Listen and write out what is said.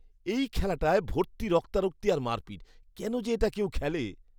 এই খেলাটায় ভর্তি রক্তারক্তি আর মারপিট। কেন যে এটা কেউ খেলে!